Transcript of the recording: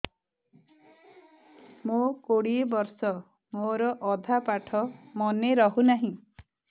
ମୋ କୋଡ଼ିଏ ବର୍ଷ ମୋର ଅଧା ପାଠ ମନେ ରହୁନାହିଁ